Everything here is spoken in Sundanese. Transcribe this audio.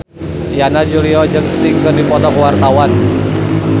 Yana Julio jeung Sting keur dipoto ku wartawan